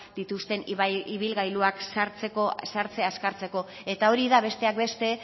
dituzten ibilgailuak sartzea azkartzeko eta hori da besteak beste